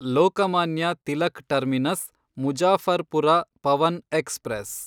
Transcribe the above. Lokmanya Tilak Terminus Muzaffarpur Pawan express